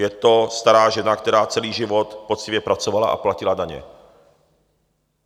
Je to stará žena, která celý život poctivě pracovala a platila daně.